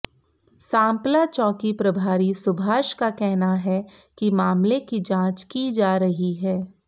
सांपला चौकी प्रभारी सुभाष का कहना है कि मामले की जांच की जा रही है